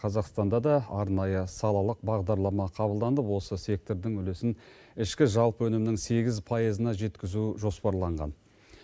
қазақстанда да арнайы салалық бағдарлама қабылданып осы сектордың үлесін ішкі жалпы өнімнің сегіз пайызына жеткізу жоспарланған